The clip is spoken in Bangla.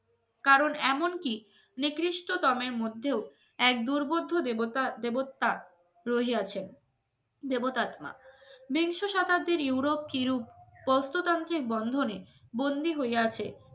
কারণ এমনকি নিকৃষ্টতমের মধ্যেও এক দুর্বোধ্য দেবতা দেবতা রহিয়াছেন বন্ধনে বন্দী হইয়াছে